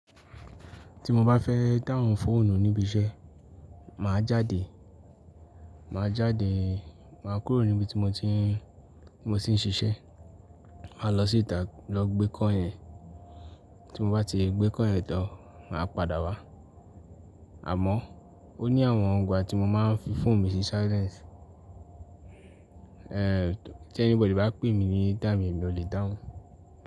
Ti mo ba fe da ohun foonu nibi ise, ma jade, ma jade, ma kuro nibi ti mo ti n, mo ti n ṣiṣẹ, ma lọ si ita lọ gbe call yen, ti mo ba ti gbe call tan, ma pada wa. Amo o ni awọn igba ti mo ma n fi foonu mi si silence, eh ti anybody ba pe mi ni time yen, emi o le da ohun.